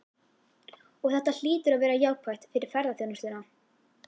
Og þetta hlýtur að vera jákvætt fyrir ferðaþjónustuna?